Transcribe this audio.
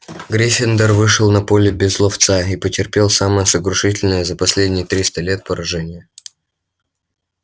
гриффиндор вышел на поле без ловца и потерпел самое сокрушительное за последние триста лет поражение